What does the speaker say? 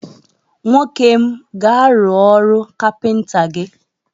Nwokem m, gaa rụọ ọrụ kapịnta gi!